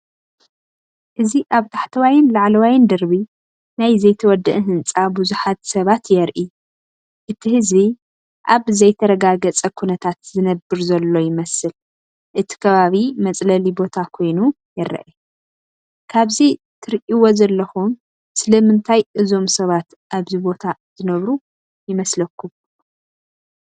እዚ ኣብ ታሕተዋይን ላዕለዋይን ደርቢ ናይ ዘይተወድአ ህንጻ ቡዝሓት ሰባት የርኢ። እቲ ህዝቢ ኣብ ዘይተረጋገፀ ኩነታት ዝነብር ዘሎ ይመስል እቲ ከባቢ መፅለሊ ቦታ ኮይኑ ይረአ። ካብዚ ትርእይዎ ዘለኹም ስለምንታይ እዞም ሰባት ኣብዚ ቦታ ዝነብሩ ይመስለኩም?